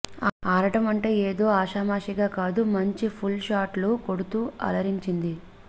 ఆడటం అంటే ఏదో ఆషామాషీగా కాదు మంచి పుల్ షాట్లు కొడుతూ అలరించింది